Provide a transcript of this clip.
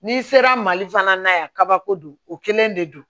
N'i sera mali fana na yan kabako don o kelen de don